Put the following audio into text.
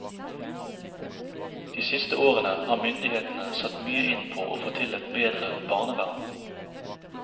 De siste årene har myndighetene satt mye inn på å få til et bedre barnevern.